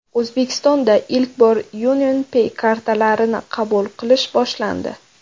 O‘zbekistonda ilk bor UnionPay kartalarini qabul qilish boshlandi.